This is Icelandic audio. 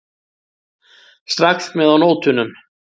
Strax með á nótunum.